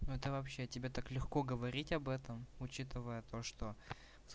ну это вообще тебе так легко говорить об этом учитывая то что